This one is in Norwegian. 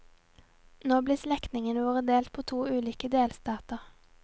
Nå blir slektningene våre delt på to ulike delstater.